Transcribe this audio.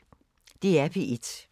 DR P1